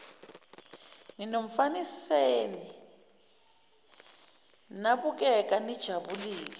ninomfaniseni nabukeka nijabule